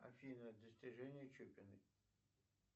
афина достижения чупиной